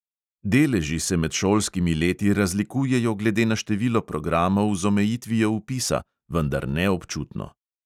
Deleži se med šolskimi leti razlikujejo glede na število programov z omejitvijo vpisa, vendar ne občutno.